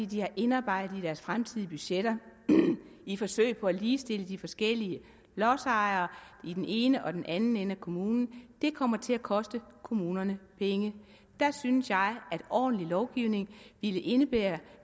de har indarbejdet det i deres fremtidige budgetter i et forsøg på at ligestille de forskellige lodsejere i den ene og den anden ende af kommunen det kommer til at koste kommunerne penge der synes jeg at ordentlig lovgivning ville indebære